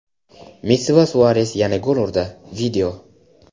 Messi va Suares yana gol urdi.